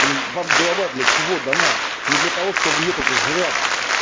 блин вам голова для чего дана не для того что в нее только жрать